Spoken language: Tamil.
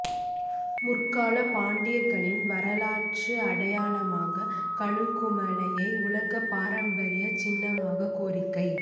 முற்காலப் பாண்டியர்களின் வரலாற்று அடையாளமான கழுகுமலையை உலகப் பாரம்பரியச் சின்னமாக்க கோரிக்கை